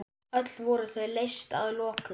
Öll voru þau leyst að lokum.